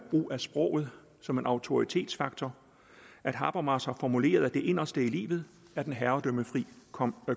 brug af sproget som en autoritetsfaktor at habermas har formuleret at det inderste i livet er den herredømmefri